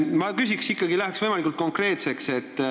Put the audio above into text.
Läheks nüüd võimalikult konkreetseks.